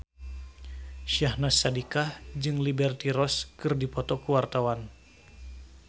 Syahnaz Sadiqah jeung Liberty Ross keur dipoto ku wartawan